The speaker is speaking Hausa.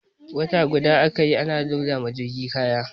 Wata guda aka yi ana loda wa jirgin kaya.